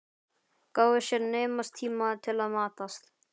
Gáfu sér naumast tíma til að matast.